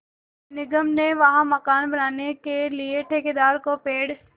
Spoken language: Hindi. निगम ने वहाँ मकान बनाने के लिए ठेकेदार को पेड़